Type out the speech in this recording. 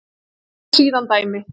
Tók síðan dæmi: